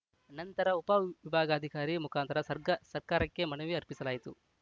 ನಂತರ ಉಪ ವಿಭಾಗಾಧಿಕಾರಿ ಮುಖಾಂತರ ಸ್ರ ಸರ್ಕಾರಕ್ಕೆ ಮನವಿ ಅರ್ಪಿಸಲಾಯಿತು